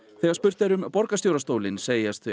þegar spurt er um borgarstjórastólinn segjast þau